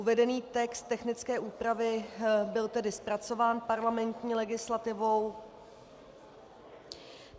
Uvedený text technické úpravy byl tedy zpracován parlamentní legislativou...